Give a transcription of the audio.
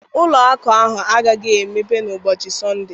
Ụlọ akụ a agaghị emepe n'ụbọchị Sọnde